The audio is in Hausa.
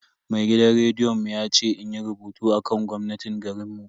Mai gidan rediyon mu ya ce inyi rubutu akan gwamnatin garinmu.